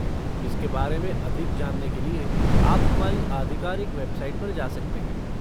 इसके बारे में अधिक जानने के लिए आप हमारी आधिकारिक वेबसाइट पर जा सकते हैं।